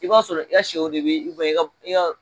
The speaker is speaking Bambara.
I b'a sɔrɔ i ka sɛ de bɛ i ka i ka